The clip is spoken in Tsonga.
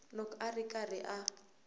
loko a ri karhi a